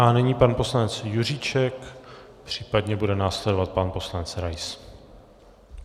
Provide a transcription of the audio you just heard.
A nyní pan poslanec Juříček, případně bude následovat pan poslanec Rais.